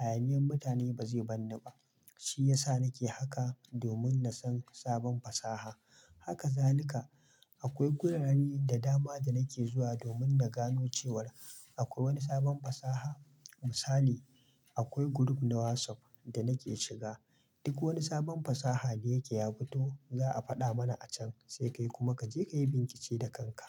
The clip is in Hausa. Hayaniyan mutane ba zai bar ni ba. Shi ya sa nake haka domin na san sabon fasaha. Haka zanika. Akwai guraren da dama da nake zuwa domin na gano cewa akwai wani sabon fasaha. Misali akwai group na WhatsApp da nake shiga. Duk wani sabon fasaha da yake ya fito za a faɗa mana a can sai kai kuma ka je ka yi binkice da kanka.